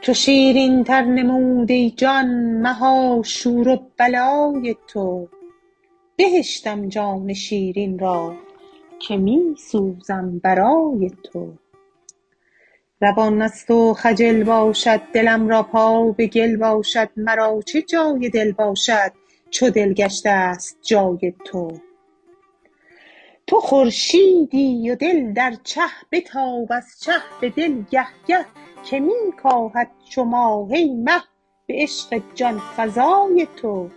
چو شیرینتر نمود ای جان مها شور و بلای تو بهشتم جان شیرین را که می سوزد برای تو روان از تو خجل باشد دلم را پا به گل باشد مرا چه جای دل باشد چو دل گشته ست جای تو تو خورشیدی و دل در چه بتاب از چه به دل گه گه که می کاهد چو ماه ای مه به عشق جان فزای تو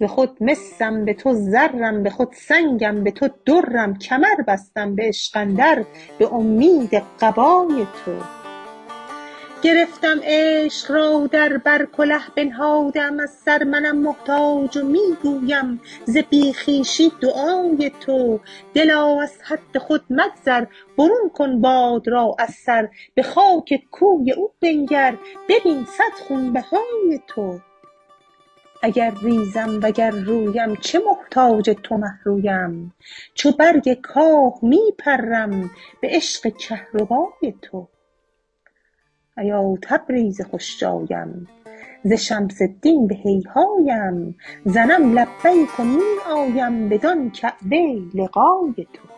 ز خود مسم به تو زرم به خود سنگم به تو درم کمر بستم به عشق اندر به اومید قبای تو گرفتم عشق را در بر کله بنهاده ام از سر منم محتاج و می گویم ز بی خویشی دعای تو دلا از حد خود مگذر برون کن باد را از سر به خاک کوی او بنگر ببین صد خونبهای تو اگر ریزم وگر رویم چه محتاج تو مه رویم چو برگ کاه می پرم به عشق کهربای تو ایا تبریز خوش جایم ز شمس الدین به هیهایم زنم لبیک و می آیم بدان کعبه لقای تو